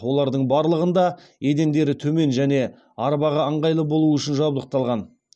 олардың барлығында едендері төмен және арбаға ыңғайлы болу үшін жабдықталған